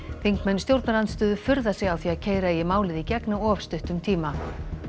þingmenn stjórnarandstöðu furða sig á því að keyra eigi málið í gegn á of stuttum tíma